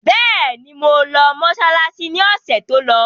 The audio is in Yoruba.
Bẹ́ẹ̀ni, mo lọ mọsálásí ni ọ̀sẹ̀ tó lọ.